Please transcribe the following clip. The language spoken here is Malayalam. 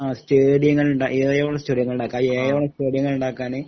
ആ സ്റ്റേഡിയങ്ങളുടെ സ്റ്റേഡിയങ്ങള് ഉണ്ടാക്കാന്